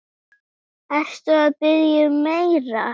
Ertu að biðja um meira.